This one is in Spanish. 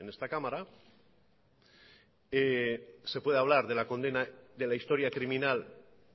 en esta cámara se puede hablar de la condena de la historia criminal